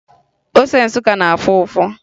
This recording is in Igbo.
Ose Nsụka na-afụ ụfụ